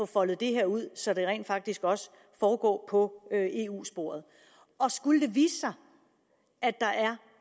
folde det her ud så det rent faktisk også foregår på eu sporet og skulle det vise sig at der er